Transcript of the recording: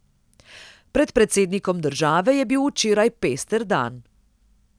Pred predsednikom države je bil včeraj pester dan.